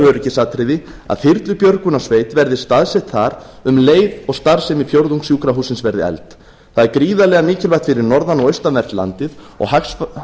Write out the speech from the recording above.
öryggisatriði að þyrlubjörgunarsveit verði staðsett þar um leið og starfsemi fjórðungssjúkrahússins verði eflt það er gríðarlega mikilvægt fyrir norðan og austanvert landið og